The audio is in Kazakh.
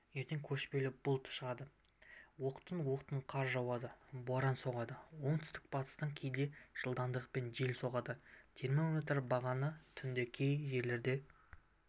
ертең көшпелі бұлт шығады оқтын-оқтын қар жауады боран соғады оңтүстік-батыстан кейде жылдамдықпен жел соғады термометр бағаны түнде кей жерлерде